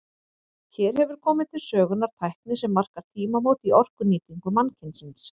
Hér hefur komið til sögunnar tækni sem markar tímamót í orkunýtingu mannkynsins.